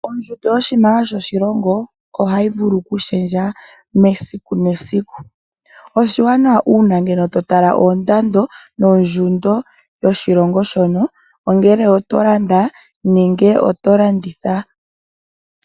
Ongushu yoshimaliwa shoshilongo ohayi vulu okushendja mesiku nomesiku. Oshiwanawa uuna ngele to tala oondando nondjundo yoshilongo shono, ongele oto landa nenge to landitha.